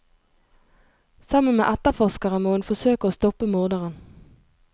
Sammen med etterforskere må hun forsøke å stoppe morderen.